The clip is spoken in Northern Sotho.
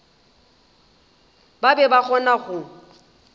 ba be ba kgona go